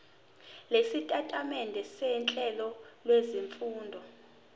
lwesitatimende sohlelo lwezifundo